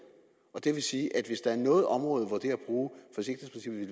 og det vil sige at hvis der er noget område